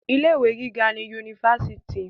Ilé ìwé gíga ní yunifásítì.